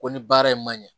Ko ni baara in ma ɲɛ